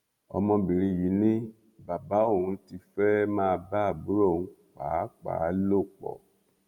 ọmọbìnrin yìí ni bàbá òun ti fẹẹ máa bá àbúrò òun pàápàá lò pọ